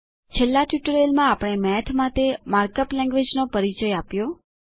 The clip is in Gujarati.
છેલ્લા ટ્યુટોરીઅલમાંઆપણે મેથ માટે માર્ક અપ લેન્ગવેજ નો પરિચય આપ્યો હતો